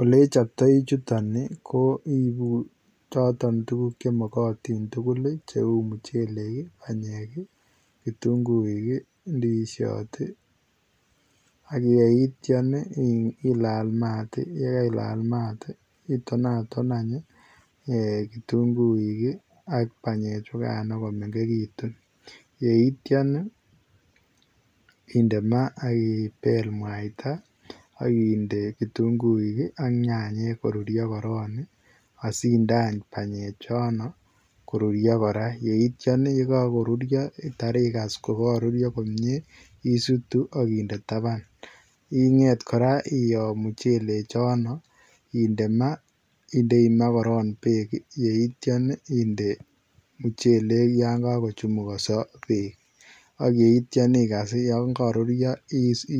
Ole chaptaii chutoon ii ko iibuuu chotoon tuguuk che magatiin tugul ii che uu muchelek ii ,panyeek ii, kitunguuik ii, ndiziat ii, ak yeityaan ii ilaal maat ii yekailaal maat ii itonatoon aany kitunguuik ii ak panyeek chukaan komegekituun yeityaan ii indema akibeel mwaita aginde kitunguuik ak nyanyek ii asinde aany panyeek choon koruria kora yeityaan ii ye kakoruria igaas ko karuria komyei isutuu agindei tabaan, ingeet koraa iyoo muchelek choon inde maa indei maa korong beek yeityaan inde olaan kakochumukasa beek ak yeityaan igaas ii yaan karuria